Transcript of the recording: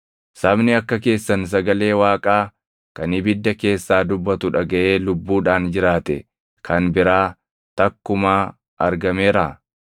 Sabni akka keessan sagalee Waaqaa kan ibidda keessaa dubbatu dhagaʼee lubbuudhaan jiraate kan biraa takkumaa argameeraa?